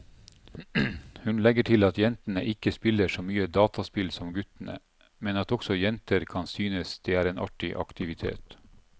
Hun legger til at jentene ikke spiller så mye dataspill som guttene, men at også jenter kan synes det er en artig aktivitet.